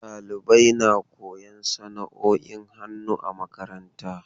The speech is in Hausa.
Dalibai na koyon sana'oin hannu a makaranta.